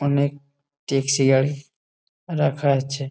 অনেক ট্যাক্সি গাড়ি রাখা আছে।